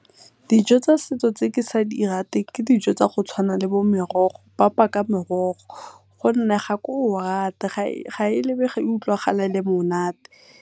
Dijo tsa setso tse ke sa di rateng ke dijo tsa go tshwana le bo morogo, papa ka morogo gonne ga ke o rate ga e lebege e utlwagala e le monate.